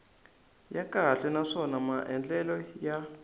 ya kahle naswona maandlalelo ya